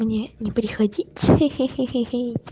мне не приходить хи-хи